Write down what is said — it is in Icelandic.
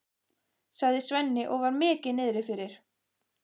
sagði Svenni og var mikið niðri fyrir.